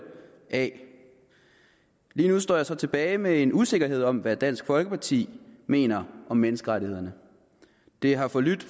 af lige nu står jeg så tilbage med en usikkerhed om hvad dansk folkeparti mener om menneskerettighederne det har forlydt